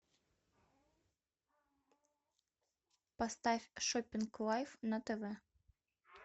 поставь шоппинг лайф на тв